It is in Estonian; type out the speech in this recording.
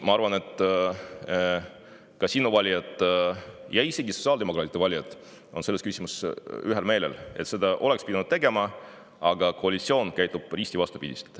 Ma arvan, et sinu valijad ja isegi sotsiaaldemokraatide valijad on selles küsimuses kõik ühel meelel, et seda oleks pidanud tegema, aga koalitsioon käitub risti vastupidi.